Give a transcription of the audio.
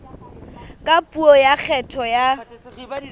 ka puo ya kgetho ya